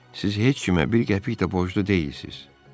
Siz heç kimə bir qəpik də borclu deyilsiz.